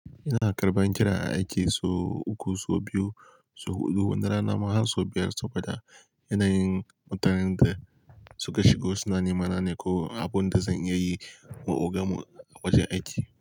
Ina karɓan kira a aiki sau uku, sau biyu, sau huɗu. Wani rana ma har sau biyar saboda yanayin mutanen da suka shigo suna nemana ne ko abin da zan iya yi ma ogan mu a wajen aiki.